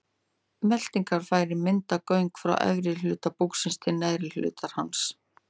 Meltingarfærin mynda göng frá efri hluta búksins til neðri hlutar hans.